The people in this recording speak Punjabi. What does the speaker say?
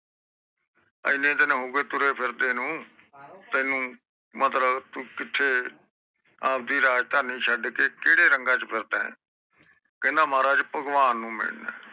ਇਨੀ ਦਿਨ ਹੋਗੇ ਤੁਰੇ ਫਿਰੇ ਨੂੰ ਤੂੰ ਆਪਣੀ ਰਾਜਧਾਨੀ ਭੁੱਲ ਕੇ ਕਿਹੜੇ ਰੰਗ ਚ ਫਿਰਦਾ ਕਹਿੰਦਾ ਮਹਾਰਾਜ ਭਗਵਾਨ ਨੂੰ ਮਿਲਣਾ ਆ